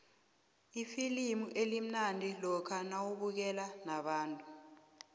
ifilimu limnandi lokha nawubukele nabantu